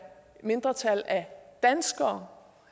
mindretal af danskere